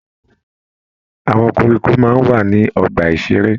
Àwọn koríko máa ń wà ní ọgbà-ìṣeré.